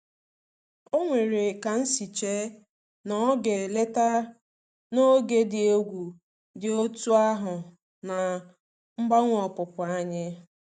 O nwere ka nsi che na ọ ga-eleta n'oge dị egwu dị otú ahụ na mgbanwe opupu anyị.